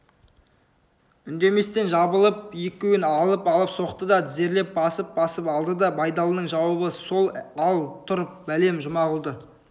үндеместен жабылып екеуін алып-алып соқты да тізерлеп басып-басып алды байдалының жауабы сол ал тұр бәлем жұмағұлды